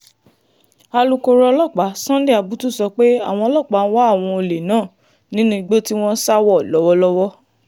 alūkkóró ọlọ́pàá sunday abutu sọ pé àwọn ọlọ́pàá ń wá àwọn olè náà nínú igbó tí wọ́n sá wọ̀ lọ́wọ́lọ́wọ́